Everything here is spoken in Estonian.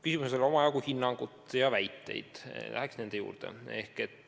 Küsimuses oli omajagu hinnangut ja väiteid, läheksingi nende juurde.